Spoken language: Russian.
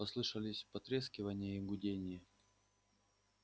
послышались потрескивание и гудение